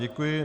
Děkuji.